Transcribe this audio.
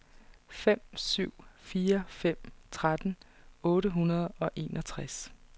fem syv fire fem tretten otte hundrede og enogtres